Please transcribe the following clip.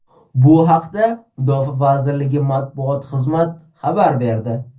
Bu haqda Mudofaa vazirligi matbuot xizmat xabar berdi .